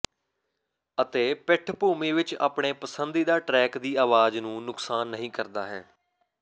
ਅਤੇ ਪਿੱਠਭੂਮੀ ਵਿੱਚ ਆਪਣੇ ਪਸੰਦੀਦਾ ਟਰੈਕ ਦੀ ਆਵਾਜ਼ ਨੂੰ ਨੁਕਸਾਨ ਨਹੀ ਕਰਦਾ ਹੈ